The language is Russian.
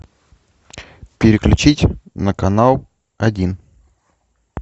переключить на канал один